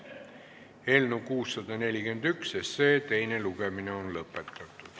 Eelnõu 641 teine lugemine on lõppenud.